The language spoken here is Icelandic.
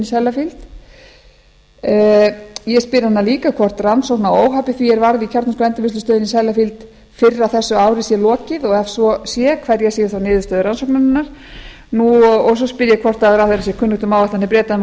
í sellafield ég spyr hana líka hvort rannsókn á óhappi því sem varð í kjarnorkuendurvinnslustöðinni í sellafield fyrr á þessu ári sé lokið og ef svo sé hverjar séu þá niðurstöður rannsóknarinnar svo spyr ég hvort ráðherra sé kunnugt um áætlanir breta um að